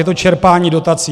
Je to čerpání dotací.